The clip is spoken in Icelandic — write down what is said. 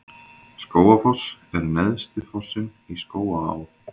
Skógafoss er neðsti fossinn í Skógaá.